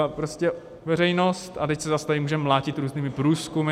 A prostě veřejnost - a teď se zas tady můžeme mlátit různými průzkumy.